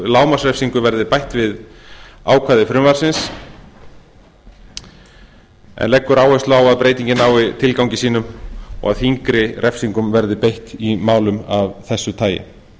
lágmarksrefsingu verði bætt við ákvæði frumvarpsins en leggur áherslu á að breytingin nái tilgangi sínum og að þyngri refsingum verði beitt í málum af þessu tagi